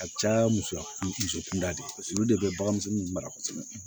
A caya muso kun muso kunda de paseke olu de be bagan misɛnnin ninnu mara kosɛbɛ